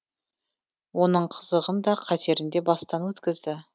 оның қызығын да қатерін де бастан өткізді